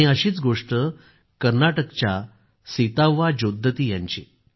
अशीच गोष्ट कर्नाटकच्या सीताव्वा जोद्दती यांची आहे